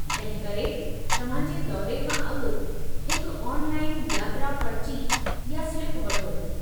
तंहिं करे, तव्हां जे दौरे खां अॻु हिकु ऑनलाइन यात्रा पर्ची या स्लिप वठो।